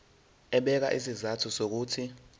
ebeka izizathu zokuthi